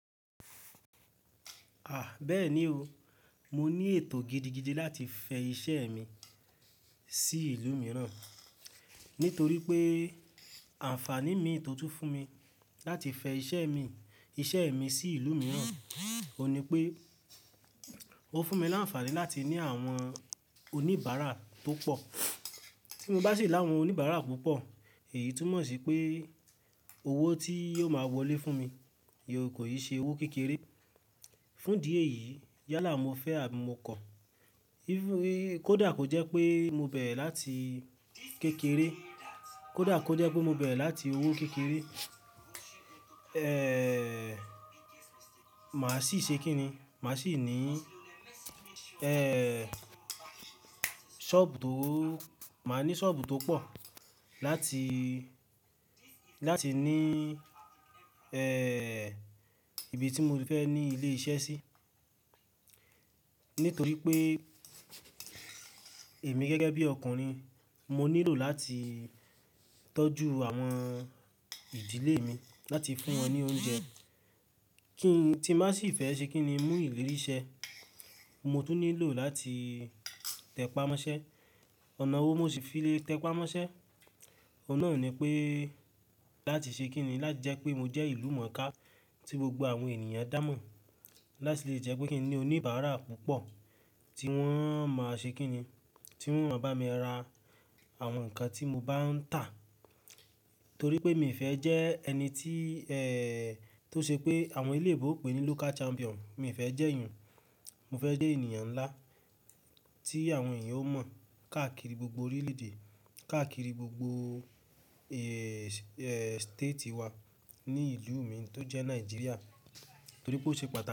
À, bẹ́ẹ̀ ni o, mo ní ètò gidigidi láti fẹ iṣẹ́ mi sí ìlú mìíràn, nítorí pé àǹfàní mi tó tún fún mi láti fẹ iṣẹ́ mi, iṣẹ́ mi sí ìlú mìíràn, ò ní pé ó fún mi láǹfàní láti ní àwọn oníbàárà tó pọ̀. Tí mo bá sì ní àwọn oníbàárà púpọ̀, èyí túmọ̀ sí pé owó tí yóò máa wọlé fún mi yóò kò yí ṣe owó kékeré. Fún ìdí èyí, yálà mo fẹ àbí mo kọ, kódà kò jẹ́ pé mo bẹ̀ láti kékeré, kódà kò jẹ́ pé mo bẹ̀ láti owó kékeré, màá sì ṣe kí ni? Màá sì ní sọ́ọ̀bù tó, màá ní sọ́ọ̀bù tó pọ̀ láti, láti ní ẹẹ, ibi tí mo ti fẹ́ ní ilé iṣẹ́ sí. Nítorí pé èmi gẹ́gẹ́ bí ọkùnrin, mo nílò láti tọ́jú àwọn ìdílé mi, láti fún wọn ní oúnjẹ. Kí n, tí màá sì fẹ́ ṣe kí ni? Mú ìlérí ṣẹ́, mo tún nílò láti tẹpá mọ́ṣẹ́. Ọ̀nà owó mo sì fi le tẹpá mọ́ṣẹ́, ọ̀nà náà ò ní pé láti ṣe kí ni? Láti jẹ́ pé mo jẹ́ ìlú mọ̀ká tí gbogbo àwọn ènìyàn dá mọ̀. Láti lè jẹ́ pé kí n ní oníbàárà púpọ̀ tí wọ́n máa ṣe kí ni? Tí wọ́n máa bá mi ra àwọn nǹkan tí mo bá ń tà. Torí pé mi ò fẹ́ jẹ́ ẹni tí ẹẹ, tó ṣe pé àwọn eléébo n pè ní local champion, mi ò fẹ́ jẹ́ ìyẹn. Mo fẹ́ jẹ́ ènìyàn nlá tí àwọn èèyàn ó mọ̀ káàkiri gbogbo orílẹ̀ èdè, káàkiri gbogbo ẹẹ state wa ní ìlú mi tó jẹ́ Naijiria. Torí pé ó ṣe patá.